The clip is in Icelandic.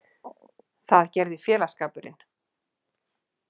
Það gerði félagsskapurinn.